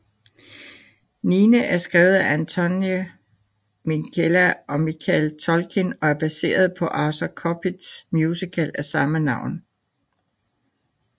Nine er skrevet af Anthony Minghella og Michael Tolkin og er baseret på Arthur Kopits musical af samme navn